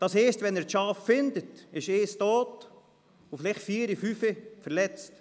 Das heisst, wenn er die Schafe findet, ist eines tot und vielleicht vier oder fünf verletzt.